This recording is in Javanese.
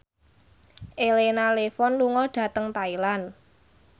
Elena Levon lunga dhateng Thailand